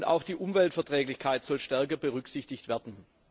Auch die Umweltverträglichkeit soll stärker berücksichtigt werden.